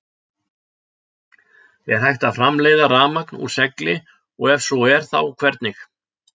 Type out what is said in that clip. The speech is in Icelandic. Er hægt að framleiða rafmagn úr segli og ef svo er þá hvernig?